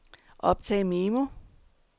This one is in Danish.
optag memo